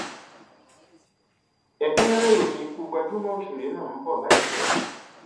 ẹkúnrẹrẹ ìròyìn ikú gbajúmọ òṣèré náà ń bọ láìpẹ